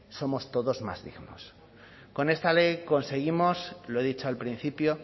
somos todos más dignos con esta ley conseguimos lo he dicho al principio